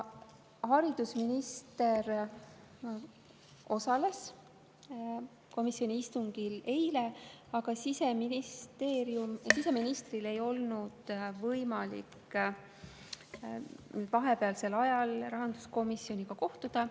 Haridusminister osales komisjoni istungil eile, aga siseministril ei olnud võimalik vahepealsel ajal rahanduskomisjoniga kohtuda.